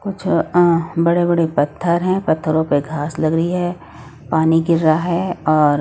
कुछ अह बड़े बड़े पत्थर हैं पत्थरों पे घास लग रही है पानी गिर रहा है और--